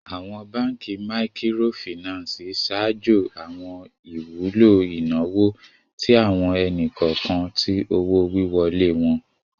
Awọn Bankí Míkírọ̀fínansì ṣáàjó awọn ìwùlọ̀ inawo tí awọn ènì-kọọkan tí owó-wíwọ́lẹ̀ wọn